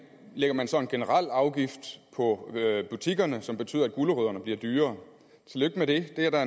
lægger man så en generel afgift på butikkerne som betyder at gulerødderne bliver dyrere tillykke med det det er der